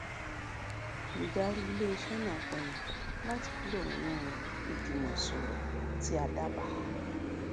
olùdarí iléiṣẹ náà pinnu láti kúrò nínú ìjùmọsòrò tí a dábàá